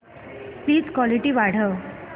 please clarity वाढव